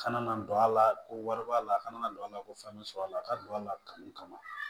Kana na don a la ko wari b'a la a kana na don a la ko fɛn bɛ sɔrɔ a la a ka don a la kanu kama